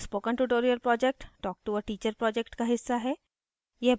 spoken tutorial project talk to a teacher project का हिस्सा है